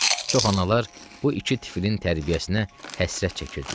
Çox analar bu iki tifilin tərbiyəsinə həsrət çəkirdilər.